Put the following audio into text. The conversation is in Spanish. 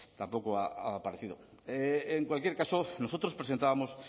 tampoco ha parecido en cualquier caso nosotros presentábamos